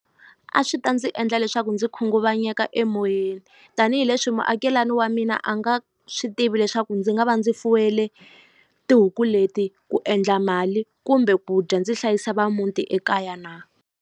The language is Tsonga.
A swi ta ndzi endla leswaku ndzi khunguvanyeka emoyeni tanihileswi muakelani wa mina a nga swi tivi leswaku ndzi nga va ndzi fuwele tihuku leti ku endla mali kumbe ku dya ndzi hlayisa va muti ekaya na.